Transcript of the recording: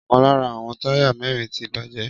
Ọkàn lára àwọn táyà mẹ́rin ti bàjẹ́.